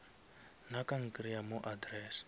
nna ka nkreya mo address